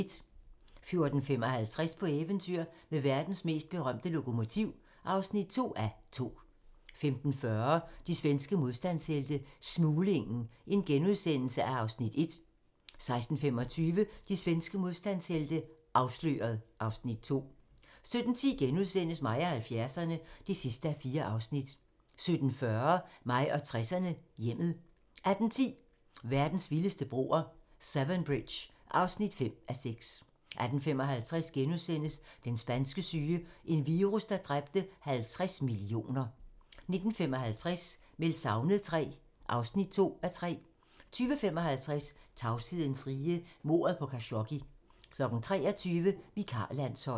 14:55: På eventyr med verdens mest berømte lokomotiv (2:2) 15:40: De svenske modstandshelte - Smuglingen (Afs. 1)* 16:25: De svenske modstandshelte - Afsløret (Afs. 2) 17:10: Mig og 70'erne (4:4)* 17:40: Mig og 60'erne: Hjemmet 18:10: Verdens vildeste broer - Severn Bridge (5:6) 18:55: Den spanske syge - en virus, der dræbte 50 millioner * 19:55: Meldt savnet III (2:3) 20:55: Tavshedens rige - mordet på Khashoggi 23:00: Vikarlandsholdet